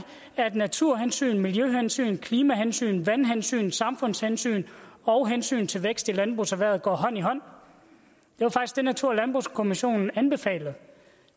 at naturhensynet miljøhensynet klimahensynet vandhensynet samfundshensynet og hensynet til vækst i landbrugserhvervet går hånd i hånd og natur og landbrugskommissionen anbefalede